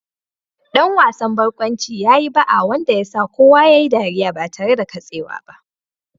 Dan wasan barkwanci ya yi ba'a wanda ya sa kowa ya yi ɗariya ba tare da katsewa ba